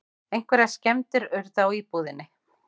Einhverjar skemmdir urðu á íbúðinni